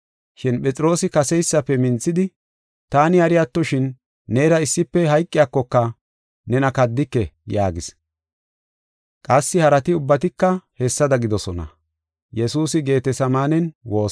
Shin Phexroosi kaseysafe minthidi, “Taani hari attoshin, neera issife hayqiyakoka, nena kaddike” yaagis. Qassi harati ubbatika hessada gidoosona.